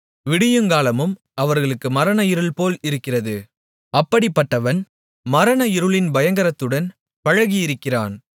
விடியுங்காலமும் அவர்களுக்கு மரண இருள்போல் இருக்கிறது அப்படிப்பட்டவன் மரண இருளின் பயங்கரத்துடன் பழகியிருக்கிறான்